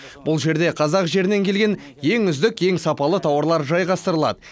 бұл жерде қазақ жерінен келген ең үздік ең сапалы тауарлар жайғастырылады